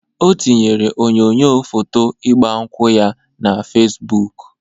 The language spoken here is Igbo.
O tinyere onyoyo foto igba nkwu ya na Fesbụk.